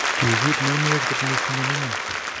Ki giit nemuuech kot missing en iman